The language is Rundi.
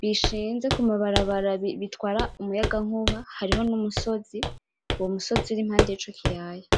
bishinze ku mabarabara bitwara umuyagankuba, hariho n'umusozi, uwo musozi uri impande yico kiyaya.